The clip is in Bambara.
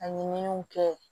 A ɲininiw kɛ